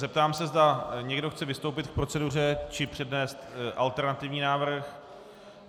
Zeptám se, zda někdo chce vystoupit k proceduře či přednést alternativní návrh.